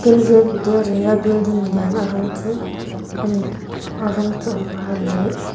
kendrya vidyalaya building lian a rawng chu ani a rawng chu a var leh --